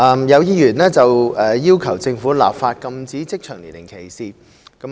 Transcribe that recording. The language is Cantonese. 有議員要求政府立法禁止職場年齡歧視。